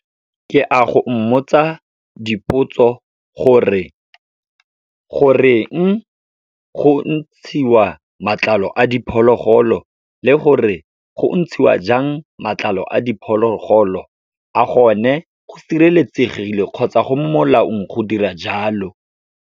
Ke a go mmotsa dipotso gore, goreng go ntshiwa matlalo a diphologolo le gore go ntshiwa jang matlalo a diphologolo. A gone go sireletsegile kgotsa go mo molaong go dira jalo.